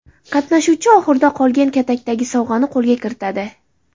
Qatnashuvchi oxirida qolgan katakdagi sovg‘ani qo‘lga kiritadi.